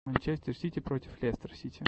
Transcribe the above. манчестер сити против лестер сити